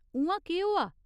उ'आं, केह् होआ?